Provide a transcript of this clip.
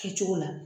Kɛcogo la